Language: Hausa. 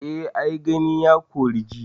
Eh ai Gani, ya kori ji.